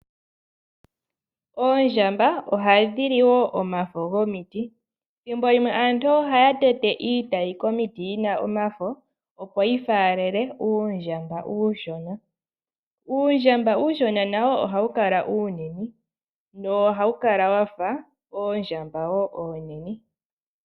Oondjamba ohadhi li omafo gomiti , ethimbo limwe aantu ohaya tete iiti Komiti yina omafo, opo yifaalele uundjamba uushona . Uundjamba uushona nawo ohawu kala uunene nohau kala wafa oondjamba oonene.